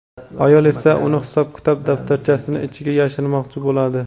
ayol esa uni hisob-kitob daftarchasining ichiga yashirmoqchi bo‘ladi.